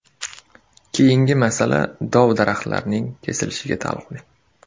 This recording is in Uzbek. Keyingi masala dov-daraxtlarning kesilishiga taalluqli.